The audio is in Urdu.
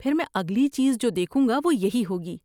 پھر میں اگلی چیز جو دیکھوں گا وہ یہی ہوگی۔